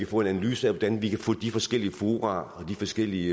få en analyse af hvordan vi kan få de forskellige fora og de forskellige